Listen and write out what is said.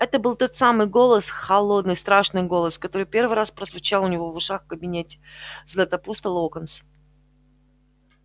это был тот самый голос холодный страшный голос который первый раз прозвучал у него в ушах в кабинете златопуста локонса